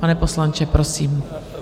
Pane poslanče, prosím.